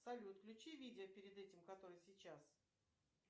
салют включи видео перед этим которое сейчас